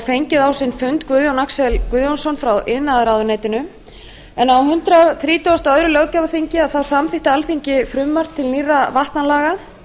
fengið á sinn fund guðjón axel guðjónsson frá iðnaðarráðuneyti á hundrað þrítugasta og öðrum löggjafarþingi samþykkti alþingi frumvarp til nýrra vatnalaga